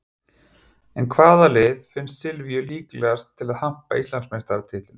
En hvaða lið finnst Silvíu líklegast til að hampa Íslandsmeistaratitlinum?